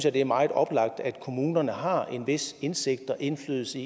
at det er meget oplagt at kommunerne har en vis indsigt i og indflydelse